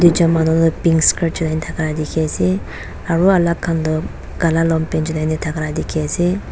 picture mathor te pink skirt thaka dekhi ase aru alag khan tu Kala longpant junai jisna dekhi ase.